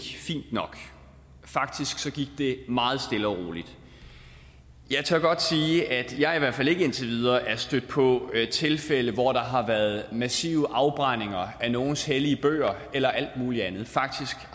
fint nok faktisk gik det meget stille og roligt jeg tør godt sige at jeg i hvert fald ikke indtil videre er stødt på tilfælde hvor der har været massive afbrændinger af nogles hellige bøger eller alt mulig andet faktisk